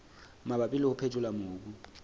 mabapi le ho phethola mobu